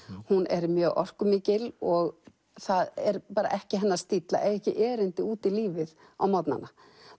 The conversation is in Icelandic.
hún er mjög orkumikil og það er ekki hennar stíll að eiga ekki erindi út í lífið á morgnanna